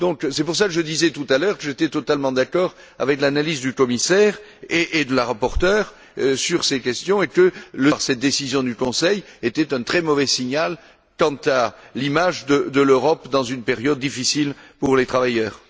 C'est pour cela que je disais, tout à l'heure, que j'étais totalement d'accord avec l'analyse du commissaire et de la rapporteure sur ces questions, et que cette décision du Conseil donnait un très mauvais signal quant à l'image de l'Europe dans une période difficile pour les travailleurs.